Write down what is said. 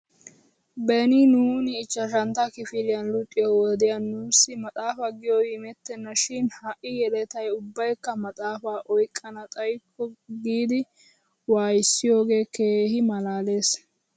Beni nuuni ichchashantta kifiliyan luxiyoo wodiyan nuussi maxaafa giyoobiinettena shin ha'i yeletay ubbaykka maxaafaa oyqqana xayikko giidi waayissiyoogee keehi malaales.